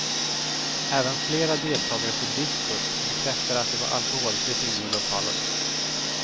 Även flera deltagare på diskot bekräftar att det var alkoholfritt inne i lokalen.